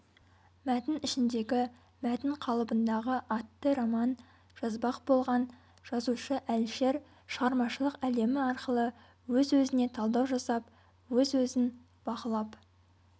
мәтін ішіндегі мәтін қалыбындағы атты роман жазбақ болған жазушы әлішер шығармашылық әлемі арқылы өз-өзіне талдау жасап өз-өзін бақылап